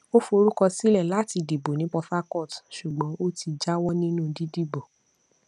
ó forúkọ sílẹ láti dìbò ní port harcourt ṣùgbọn ó ti jáwọ nínú dídìbò